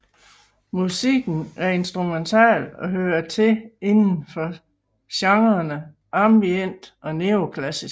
Musikken er instrumental og hører til inden for genrene ambient og neoklassisk